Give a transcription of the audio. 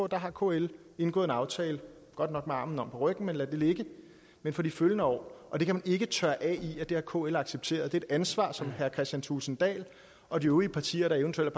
der har kl indgået en aftale godt nok med armene omme på ryggen men lad det ligge men for de følgende år og det kan ikke tørre af i at det har kl accepteret det er et ansvar som herre kristian thulesen dahl og de øvrige partier der eventuelt